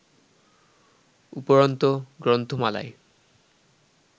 উপরন্তু গ্রন্থমালায়